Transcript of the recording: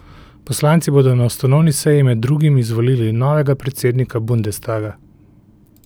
Poslanci bodo na ustanovni seji med drugim izvolili novega predsednika bundestaga.